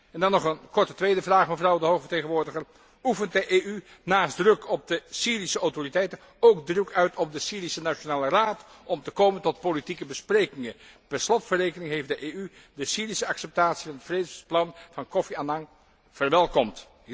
En dan nog een korte tweede vraag, mevrouw de hoge vertegenwoordiger oefent de EU naast druk op de Syrische autoriteiten, ook druk uit op de Syrische nationale raad om te komen tot politieke besprekingen? Per slot van rekening heeft de EU de Syrische acceptatie van het vredesplan van Kofi Annan verwelkomd.